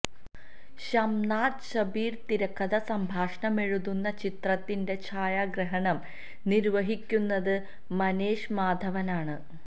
ഷംനാദ് ഷബീര് തിരക്കഥ സംഭാഷണമെഴുതുന്ന ചിത്രത്തിന്റെ ഛായാഗ്രാഹണം നിര്വ്വഹിക്കുന്നത് മനേഷ് മാധവനാണ്